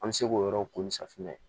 An bɛ se k'o yɔrɔw ko ni safunɛ